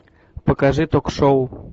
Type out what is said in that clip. покажи ток шоу